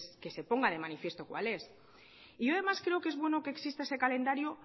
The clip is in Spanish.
que se ponga de manifiesto cuál es y yo además creo que es bueno que exista ese calendario